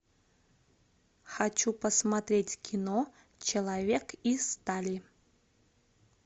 хочу посмотреть кино человек из стали